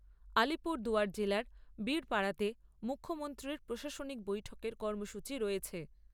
আলিপুরদুয়ার জেলার বীরপাড়াতে মুখ্যমন্ত্রীর প্রশাসনিক বৈঠকের কর্মসূচী রয়েছে।